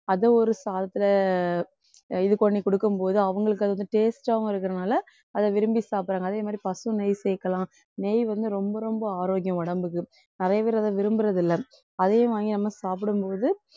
அதை ஒரு சாதத்துல இது பண்ணி குடுக்கும் போது அவங்களுக்கு அதுவந்து taste ஆவும் இருக்கிறதுனால அதை விரும்பி சாப்பிடுறாங்க. அதே மாதிரி பசு நெய் சேர்க்கலாம். நெய் வந்து ரொம்ப ரொம்ப ஆரோக்கியம் உடம்புக்கு நெறையபேரு அதை விரும்புறதில்லை. அதையும் வாங்கி நம்ம சாப்பிடும்போது